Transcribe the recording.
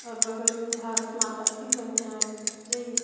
और बगल में भारत माता भी बने है जय हिंद--